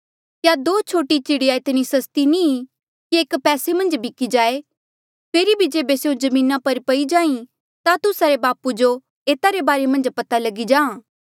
क्या दो छोटी चिड़िया इतनी सस्ती नी की एक पैसे मन्झ बिक्की जाई फेरी भी जेबे स्यों जमीना पर पई जाई ता तुस्सा रे बापू जो एता रे बारे मन्झ पता लगी जाहाँ